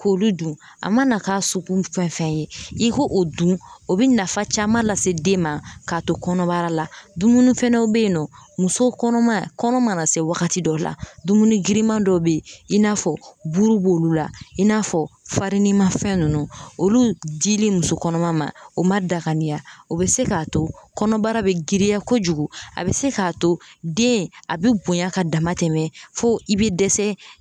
K'olu dun a mana k'a sugu fɛn fɛn ye i ko o dun o bɛ nafa caman lase den ma k'a to kɔnɔbara la dumuni fana bɛ yen nɔ muso kɔnɔma kɔnɔ mana se wagati dɔ la dumuni giriman dɔ bɛ yen i n'a fɔ buru b'olu la i n'a fɔ farini mafɛn ninnu olu dili muso kɔnɔma ma o man danganiya o bɛ se k'a to kɔnɔbara bɛ girinya kojugu a bɛ se k'a to den a bɛ bonya ka dama tɛmɛ fo i bɛ dɛsɛ.